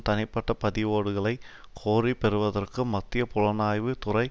தனிப்பட்ட பதிவோடுகளை கோரிப் பெறுவதற்கு மத்திய புலனாய்வு துறை